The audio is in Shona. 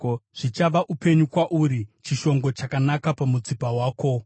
zvichava upenyu kwauri, chishongo chakanaka pamutsipa wako.